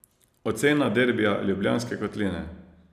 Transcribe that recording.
Ocena derbija Ljubljanske kotline?